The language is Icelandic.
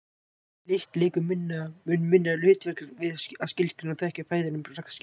Lykt leikur mun minna hlutverk við að skilgreina og þekkja fæðu en bragðskyn.